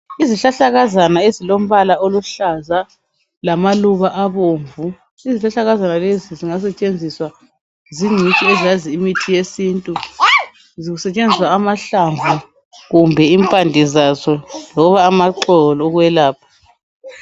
Izihlahlakazana ezilombala oluhlaza lamaluba abomvu. Izihlahlakazana lezi zingasetshenziswa zingcitshi ezazi imithi yesintu zisebenzisa amahlamvu kumbe impande zazo loba amaxolo ukwelapha.